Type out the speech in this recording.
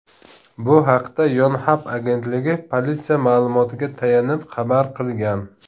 Bu haqda Yonhap agentligi politsiya ma’lumotiga tayanib xabar qilgan .